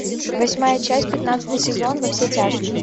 восьмая часть пятнадцатый сезон во все тяжкие